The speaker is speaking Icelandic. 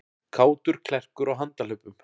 Kátur klerkur á handahlaupum